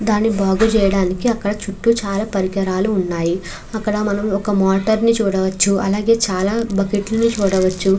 దాన్ని బాగు చెయ్యడానికి అక్కడ చుట్టూ చాలా పరికరాలు ఉన్నాయి అక్కడ మనము ఒక మోటార్ని చుడువచ్చు అలాగే చాల బకెట్లని చూడవచ్చు.